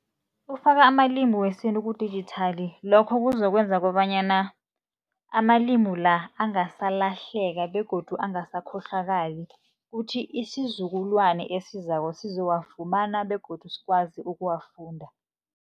Ukufaka amalimi wesintu kudijithali, lokho kuzokwenza kobanyana amalimu la angasalahleka begodu angasakhohlwakali. Kuthi isizukulwana esizako sizowafumana begodu sikwazi ukuwafunda.